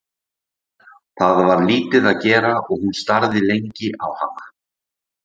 Það var lítið að gera og hún starði lengi á hana.